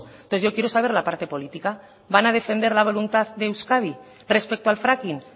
entonces yo quiero saber la parte política van a defender la voluntad de euskadi respecto al fracking